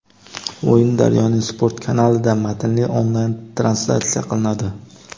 O‘yin "Daryo"ning sport kanalida () matnli onlayn translyatsiya qilinadi.